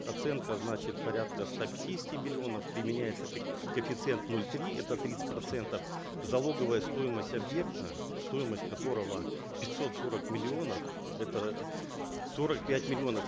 оценка значит порядка ста пятидесяти миллионов применяется коэффициент ноль три это тридцать процентов залоговая стоимость объекта стоимость которого пятьсот сорок миллионов это сорок пять миллионов